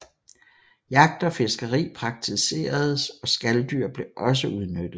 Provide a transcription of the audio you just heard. Jagt og fiskeri praktiseredes og skaldyr blev også udnyttet